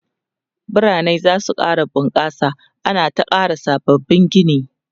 biranai zasu ƙara bunƙasa ana ta ƙara sabbabin Gini